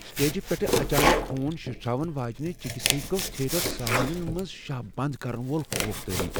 سٹیجہِ پیٹھہٕ اچانک، خوٗن شِٹھراون واجِنہِ چِكہِ سۭتۍ گوٚو تھیٹر سامیعنن منٛز شاہ بند كرن وول خوف تٲری ۔